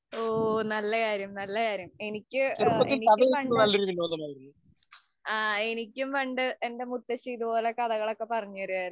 ഓ, നല്ലകാര്യം, നല്ലകാര്യം എനിക്ക് എനിക്ക് പണ്ട്. ആ എനിക്കും പണ്ട് എന്‍റെ മുത്തശ്ശി കഥകള്‍ പറഞ്ഞുതരുമായിരുന്നു.